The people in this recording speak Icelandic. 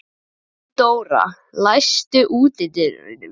Gunndóra, læstu útidyrunum.